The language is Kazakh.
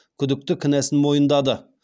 күдікті кінәсін мойындады